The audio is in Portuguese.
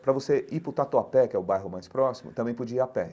Para você ir para o Tatuapé, que é o bairro mais próximo, também podia ir a pé.